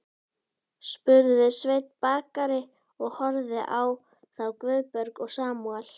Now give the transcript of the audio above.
spurði Sveinn bakari og horfði á þá Guðberg og Samúel.